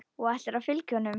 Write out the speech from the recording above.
Og ætlarðu að fylgja honum?